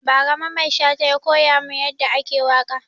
Ba ra Mamman Shata ya koya mun ya da ake waka